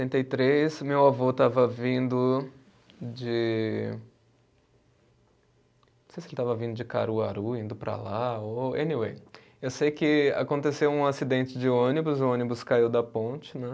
e três, meu avô estava vindo de. Não sei se ele estava vindo de Caruaru, indo para lá, ou, Anyway, eu sei que aconteceu um acidente de ônibus, o ônibus caiu da ponte, né?